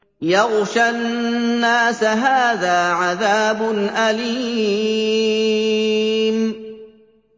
يَغْشَى النَّاسَ ۖ هَٰذَا عَذَابٌ أَلِيمٌ